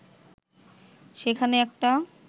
সেখানে একটা